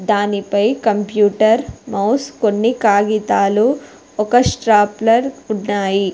దానిపై computer mouse కొన్ని కాగితాలు ఒక స్ట్రాప్లర్ ఉన్నాయి.